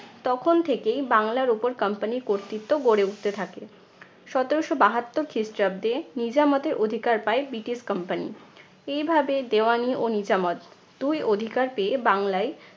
তখন থেকেই বাংলার উপর company র কর্তৃত্ব গড়ে উঠতে থাকে। সতেরশো বাহাত্তর খ্রিস্টাব্দে নিজামতে অধিকার পায় ব্রিটিশ company এইভাবে দেওয়ানি ও নিজামত দুই অধিকার পেয়ে বাংলায়